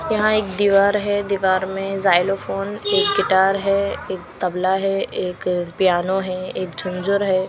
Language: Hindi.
यहां एक दीवार है दीवार में जाइलोफोन एक गिटार है एक तबला है एक पियानो है एक झुंझुर है।